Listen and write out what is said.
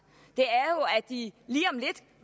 de